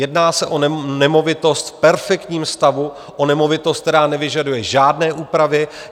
Jedná se o nemovitost v perfektním stavu, o nemovitost, která nevyžaduje žádné úpravy.